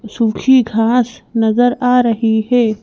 सूखी घास नजर आ रही है।